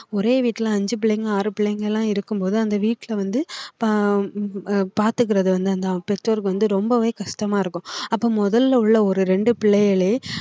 ஒரே வீட்ல அஞ்சு புள்ளைங்க ஆறு புள்ளைங்க எல்லாம் இருக்கும்போது அந்த வீட்ல வந்து ப~ ஆஹ் பாத்துக்கறது வந்து அந்த பெற்றோருக்கு வந்து ரொம்பவே கஷ்டமா இருக்கும் அப்ப முதல்ல உள்ள ஒரு இரண்டு பிள்ளைகளே